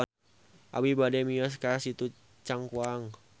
Abi bade mios ka Situ Cangkuang